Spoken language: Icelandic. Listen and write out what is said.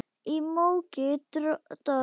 Í móki og dormi.